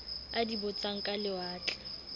a di botsang ka lewatle